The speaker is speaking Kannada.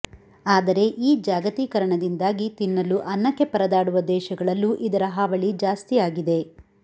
ಆದರೆ ಈ ಜಾಗತೀಕರಣದಿಂದಾಗಿ ತಿನ್ನಲು ಅನ್ನಕ್ಕೆ ಪರದಾಡುವ ದೇಶಗಳಲ್ಲು ಇದರ ಹಾವಳಿ ಜಾಸ್ತಿಯಾಗಿದೆ